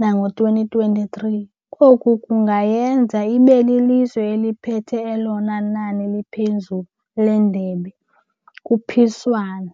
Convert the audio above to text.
nango-twenty twenty-three. Koku kungayenza ibe lilizwe eliphethe elona nani liphezulu leendebe kuphiswano.